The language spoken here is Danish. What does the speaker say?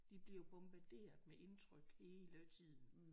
De bliver jo bombarderet med indtryk hele tiden